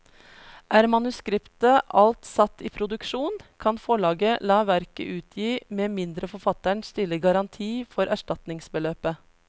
Er manuskriptet alt satt i produksjon, kan forlaget la verket utgi med mindre forfatteren stiller garanti for erstatningsbeløpet.